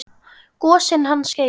Gosinn hans Geira.